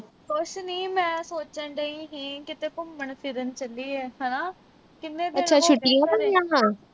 ਕੁਝ ਨੀ ਮੈਂ ਸੋਚਣ ਡਈ ਸੀ, ਕਿਤੇ ਘੁੰਮਣ-ਫਿਰਨ ਚੱਲੀਏ ਹਨਾ।